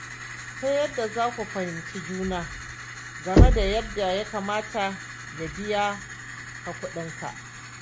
Ta yadda za ku fihimci juna game da yadda ya kamata ya biya ka kuɗinka.